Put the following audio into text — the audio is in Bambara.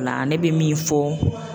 O la ne bɛ min fɔ